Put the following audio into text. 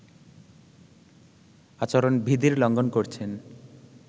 আচরণবিধির লঙ্ঘন করছেন